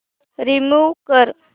remove कर